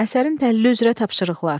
Əsərin təhlili üzrə tapşırıqlar.